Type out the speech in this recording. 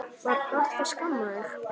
Var pabbi að skamma þig?